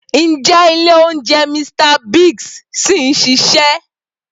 Ǹjẹ́ ilé oúnjẹ Mr Biggs ṣì ń ṣiṣẹ́?